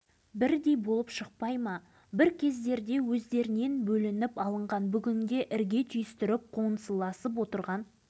бірақ дәл солармен бірдей тауқымет тартып отырған басқа адамдар жөнінде ештеңе айтпау шындықты көлеңкелеп қылмысты бүркемелеумен